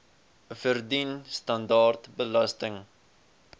verdien standaard belasting